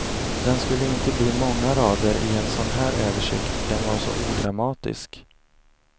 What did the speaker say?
Den skulle inte bli många rader i en sådan här översikt, den var så odramatisk.